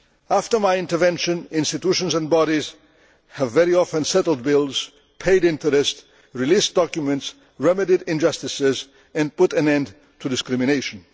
After my intervention, institutions and bodies have very often settled bills, paid interest, released documents, remedied injustices and put an end to discrimination.